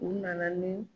U nana ni